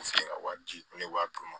U feere ka wari di ne b'a d'u ma